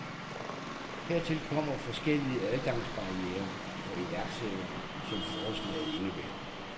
Hertil kommer forskellige adgangsbarrierer for iværksættere, som forslaget indebærer.